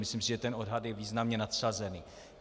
Myslím si, že ten odhad je významně nadsazený.